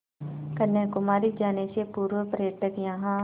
कन्याकुमारी जाने से पूर्व पर्यटक यहाँ